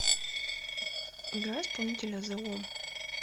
играй исполнителя зе ом